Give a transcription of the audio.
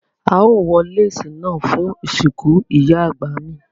Ao wọ lẹ̀cè náà fún ìsínkú Ìyá àgbà mi